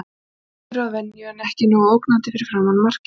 Vinnusamur að venju en ekki nógu ógnandi fyrir framan markið.